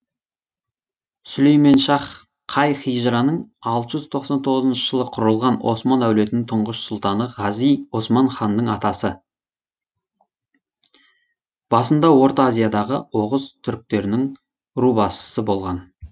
сүлеймен шах қай хижраның алты жүз тоқсан тоғыз жылы құрылған осман әулетінің тұңғыш сұлтаны ғази осман ханның атасы басында орта азиядағы оғыз түрктерінің рубасысы болған